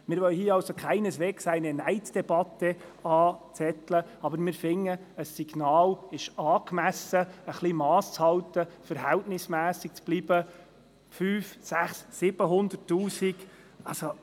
Wir wollen keineswegs eine «Neiddebatte» anzetteln, aber wir finden, ein Signal zum Masshalten und zur Verhältnismässigkeit sei angemessen.